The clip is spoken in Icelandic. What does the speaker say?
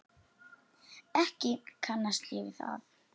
Ekki kannast ég við það.